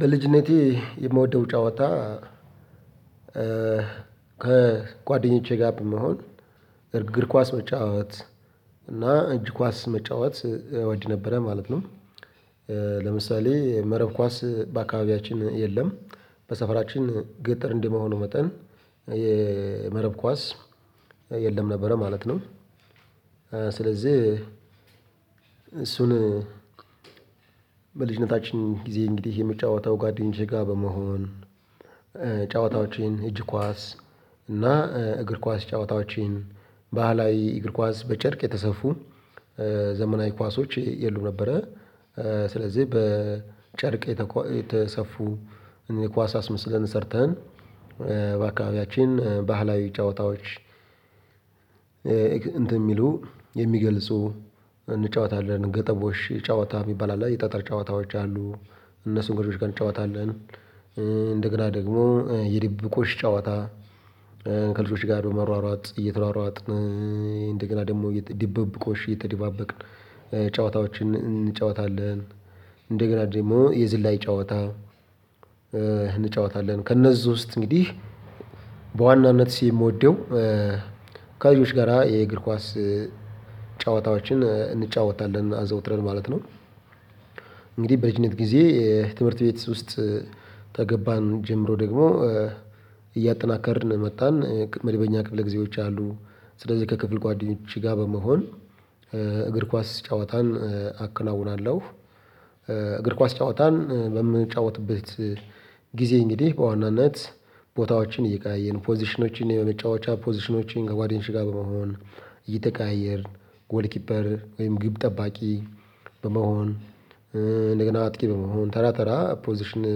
በልጅነቴ የምወደው ጨዋታ ከጓደኞቼ ጋር በመሆን እርግር ኳስ መጫወት እና እጅ ኳስ መጫወት እወድ ነበረ ማለት ነው። ለምሳሌ መረብ ኳስ በአካባቢያችን የለም። በሰፈራችን ገጠር እንደመሆኑ መጠን የመረብ ኳስ የለም ነበረ ማለት ነው። ስለዚህ እሱን በልጅነታችን ጊዜ እንግዲህ የምጫወተው ጓደኞቼ ጋር በመሆን ጫወታዎችን እጅ ኳስ እና እግር ኳስ ጫወታዎችን ባህላዊ እግር ኳስ በጨርቅ የተሰፉ ዘመናዊ ኳሶች የሉም ነበረ ስለዚህ በጨርቅ የተሰፉ እኛ ኳስ አስመስለን ሰርተን በአካባቢያችን ባህላዊ ጨዋታዎች እንትን የሚሉ የሚገልጹ እንጫወታለን እገጠቦሽ ጫወታ የሚባል አለ የጠጠር ጨዋታዎች አሉ። እነሱን ከልጆች ጋር እንጫወታለን እንደገና ደግሞ የድብብቆሽ ጨዋታ ከልጆች ጋር በመሯሯጥ እየተሯሯጥን እንደገና ደግሞ ድብብቆሽ እየተደባበቅን ጨዋታዎችን እንጫወታለን። እንደገና ደግሞ የዝላይ ጨዋታ እንጫወታለን። ከእነዚህ ውስጥ እንግዲህ በዋናነትስ የምወደው ከልጆች ጋራ የእግር ኳስ ጨዋታዎችን እንጫወታለን አዘውትረን ማለት ነው። እንግዲህ በልጅነት ጊዜ ትምህርት ቤት ውስጥ ተገባን ጀምሮ ደግሞ እያጠናከርን ነው መጣን መደበኛ ክፍለ ጊዜዎች አሉ። ስለዚህ ከክፍል ጓደኞቼ ጋር በመሆን እግር ኳስ ጨዋታን አከናውናለሁ። እግር ኳስ ጨዋታን በምንጫወትበት ጊዜ እንግዲህ በዋናነት ቦታዎችን እየቀያየርን 'ፖዚሽኖችን' የመጫወቻ 'ፖዚሽኖችን' ከጓደኞቼ ጋር በመሆን እየተቀያየርን 'ጎል ኪፐር' ወይም ግብ ጠባቂ በመሆን እንደገና አጥቂ በመሆን ተራ ተራ 'ፖዚሽን'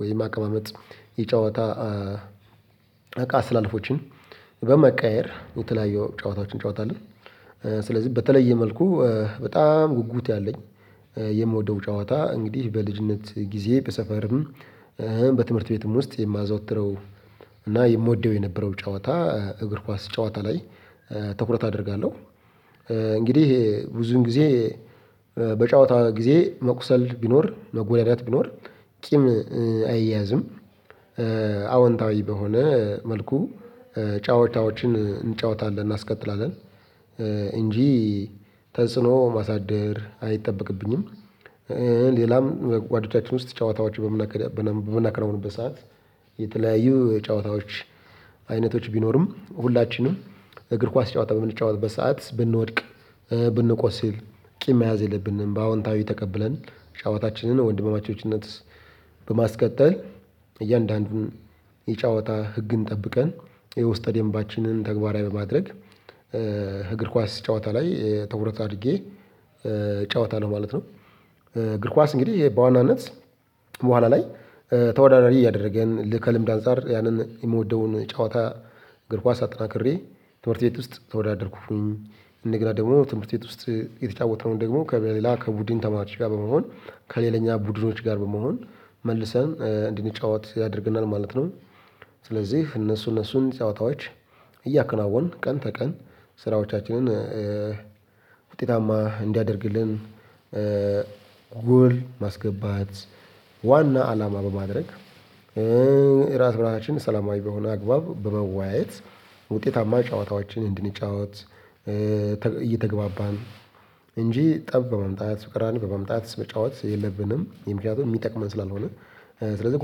ወይም አቀማመጥ የጨወታ እቃ አስተላለፎችን በማቀያየር የተለያዩ ጨዋታዎችን እንጫወታለን። ስለዚህ በተለየ መልኩ በጣም ጉጉት ያለኝ የምወደውም ጨዋታ እንግዲህ በልጅነት ጊዜ በሰፈርም በትምህርት ቤትም ውስጥ የማዘወትረው እና የምወደው የነበረው ጨዋታ እግር ኳስ ጨዋታ ላይ ትኩረት አደርጋለሁ። እንግዲህ ብዙን ጊዜ በጨዋታ ጊዜ መቁሰል ቢኖር መጎዳዳት ቢኖር ቂም አይያዝም። አወንታዊ በሆነ መልኩ ጨዋታዎችን እንጫወታለን እናስቀጥላለን እንጂ ተጽኖ ማሳደር አይጠበቅብኝም። ሌላም ጓደኞቻችን ውስጥ ጨዋታዎችን በምናቀርብበት ሰዓት የተለያዩ ጨዋታዎች አይነቶች ቢኖሩም ሁላችንም እግር ኳስ ጨዋታ በምንጫወትበት ሰዓት ብንወድቅ ብንቆስል ቂም መያዝ የለብንም በአዎንታዊ ተቀብለን ጫወታችንን ወንድማቾችነት በማስቀጠል እያንዳንዱን የጨዋታ ህግን ጠብቀን የውስጠ ደምባችንን ተግባራዊ በማድረግ እግር ኳስ ጨዋታ ላይ ትኩረት አድርጌ እጫወታለሁ ማለት ነው። እግር ኳስ እንግዲህ በዋናነት በኋላ ላይ ተወዳዳሪ እያደረገን ከልምድ አንፃር ያንን የምወደውን ጨዋታ እግር ኳስ አጠናክሬ ትምህርት ቤት ውስጥ ተወዳደርኩኝ እንደገና ደግሞ ትምህርት ቤት ውስጥ የተጫወትነውን ደግሞ ከሌላ ከቡድን ተማሪዎች ጋር በመሆን ከሌለኛ ቡድኖች ጋር በመሆን መልሰን እንድንጫወት ያደርገናል ማለት ነው። ስለዚህ እነሱ እነሱን ጨዋታዎች እያከናወንን ቀን ተቀን ስራዎቻችንን ውጤታማ እንዲያደርግልን ጉል ማስገባት ዋና አላማ በማድረግ እራስ በራሳችን ሰላማዊ በሆነ አግባብ በመወያየት ውጤታማ ጨዋታዎችን እንድንጫወት እየተግባባን እንጂ ጠብ በማምጣት ፍራን በማምጣት መጫወት የለብንም። የ ምክንያቱም የሚጠቅመን ስላልሆነ። ስለዚህ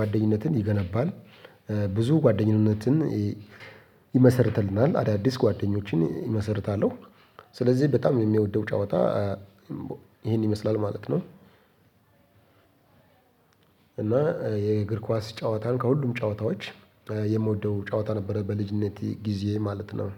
ጓደኝነትን ይገነባል። ብዙ ጓደኝነትን ይመሰርልትልናል አዳዲስ ጓደኞችን ይመሰርታለሁ። ስለዚህ በጣም እኔ የምወደው ጨዋታ ይሄን ይመስላል ማለት ነው። እና የእግር ኳስ ጨዋታን ከሁሉም ጨዋታዎች የምወደው ጨዋታ ነበረ በልጅነት ጊዜ ማለት ነው።